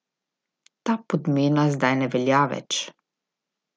Ta podmena zdaj ne velja več.